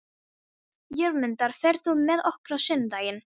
Jörmundur, ferð þú með okkur á sunnudaginn?